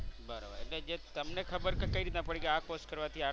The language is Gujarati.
બરાબર જે તમને ખબર કઈ રીતના ખબર પડી કે આ course કરવાથી આટલા